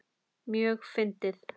Mjög fyndið.